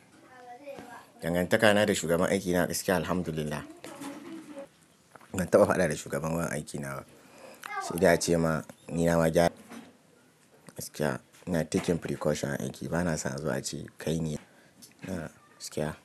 Dangantakana da shugaban aiki na gaskiya alhamdulillah. Ban taɓa faɗa da shugaban wurin aiki na ba. Sai dai a ce ma ni nama gyara gaskiya ina taking precaution a aiki bana son zuwa ce kai ne, ina gskiya.